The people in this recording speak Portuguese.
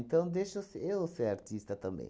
deixa eu se eu ser artista também.